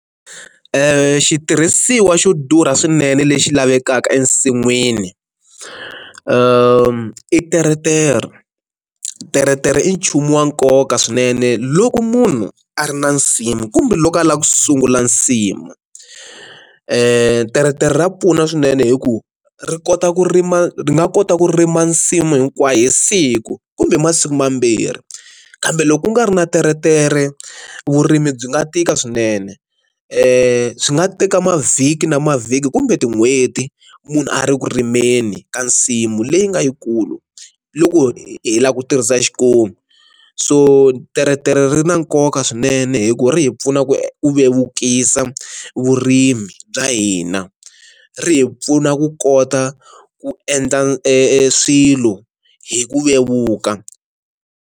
Xitirhisiwa xo durha swinene lexi lavekaka ensinwini i teretere, teretere i nchumu wa nkoka swinene loko munhu a ri na nsimu kumbe loko a lava ku sungula nsimu, teretere ra pfuna swinene hi ku ri kota ku rima ri nga kota ku rima nsimu hinkwayo hi siku kumbe masiku mambirhi, kambe loko ku nga ri na teretere vurimi byi nga tika swinene swi nga teka mavhiki na mavhiki kumbe tin'hweti munhu a ri ku rimeni ka nsimu leyi nga yikulu loko hi lava ku tirhisa xikomu, so teretere ri na nkoka mhaka swinene hi ku ri hi pfuna ku vevukisa vurimi bya hina, ri hi pfuna ku kota ku endla e swilo hi ku vevuka.